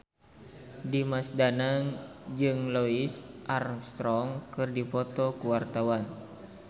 Dimas Danang jeung Louis Armstrong keur dipoto ku wartawan